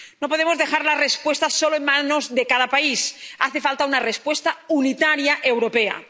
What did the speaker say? No podemos dejar la respuesta solo en manos de cada país. Hace falta una respuesta unitaria europea.